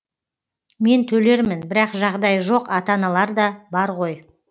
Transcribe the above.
мен төлермін бірақ жағдайы жоқ ата аналар да бар ғой